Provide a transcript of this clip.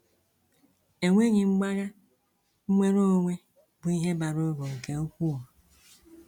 Enweghị mgbagha, nnwere onwe bụ ihe bara uru nke ukwuu.